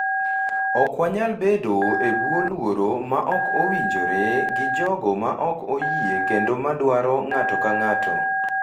ok wanyal bedo e bwo luoro ma ok owinjore gi jogo ma ok oyie kendo ma dwaro ng’ato ka ng’ato,